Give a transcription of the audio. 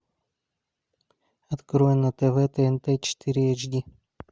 открой на тв тнт четыре эйч ди